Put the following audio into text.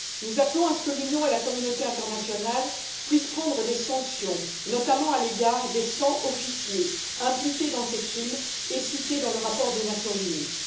Nous appelons à ce que l'Union et la communauté internationale puissent prendre des sanctions, notamment à l'égard des 100 officiers impliqués dans ces crimes et cités dans le rapport des Nations unies.